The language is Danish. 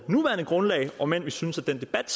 nuværende grundlag om end vi synes at den debat